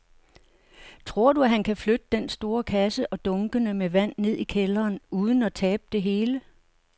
Tror du, at han kan flytte den store kasse og dunkene med vand ned i kælderen uden at tabe det hele?